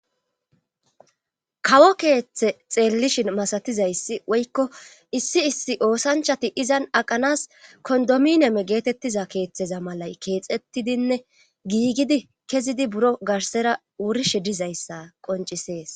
kawo keeththe xeellishin masatizayssi woykko issi issi oosanchati izan aqanas kondomineme geetettiza keeththeza malay keexettidinne giigidi kezidi buro garsera wurishe dizayssa qoncisees